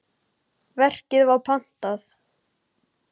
Verkið var pantað.